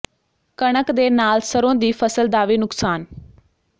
ਕਣਕ ਦੇ ਨਾਲ ਸਰ੍ਹੋਂ ਦੀ ਫ਼ਸਲ ਦਾ ਵੀ ਨੁਕਸਾਨ